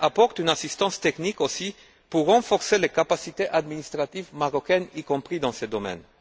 apporte une assistance technique aussi pour renforcer les capacités administratives marocaines, y compris dans ce domaine.